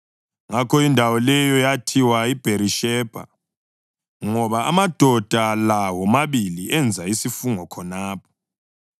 Ngakho indawo leyo yathiwa yiBherishebha ngoba amadoda la womabili enza isifungo khonapho.